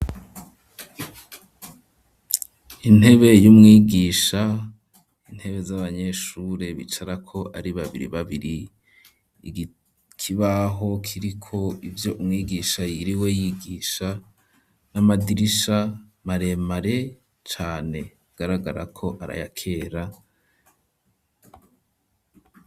Intebe y'umwigisha intebe z'abanyeshure bicara ko ari babiri babiri ikibaho kiri ko ivyo umwigisha yiriwe yigisha n'amadirisha maremare cane agaragara ko arayakera.